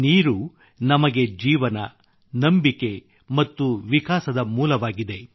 ನೀರು ನಮಗೆ ಜೀವನ ನಂಬಿಕೆ ಮತ್ತು ವಿಕಾಸದ ಮೂಲವಾಗಿದೆ